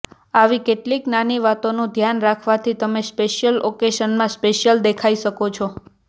આવી કેટલીક નાની વાતોનું ઘ્યાન રાખવાથી તમે સ્પેશિયલ ઓકેશનમાં સ્પેશિયલ દેખાઈ શકો છો